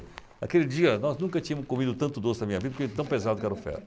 Aquele dia, nós nunca tínhamos comido tanto doce na minha vida porque de tão pesado que era o ferro.